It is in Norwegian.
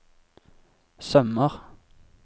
sømmer